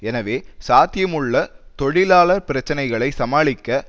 எனவே சாத்தியமுள்ள தொழிலாளர் பிரச்சினைகளை சமாளிக்க